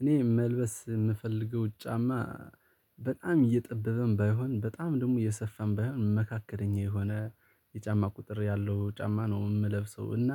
እኔ መልበስ የምፈልገው ጫማ በጣም እየጠበበም ባይሆን በጣም ደግሞ እየሰፋም ባይሆን በመካከለኛ የሆነ የጫማ ቁጥር ያለው ጫማ ነው የምለብሰው። እና